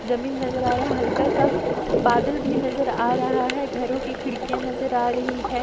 जमीन नजर आ रहा है हल्का सा बादल भी नजर आ रहा है घरों की खिड़कियां नजर आ रही है।